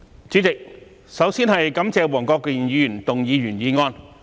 主席，我首先感謝黃國健議員動議原議案。